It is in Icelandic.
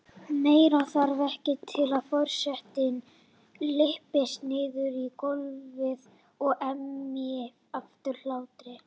Meira þarf ekki til að forsetinn lyppist niður í gólfið og emji af hlátri.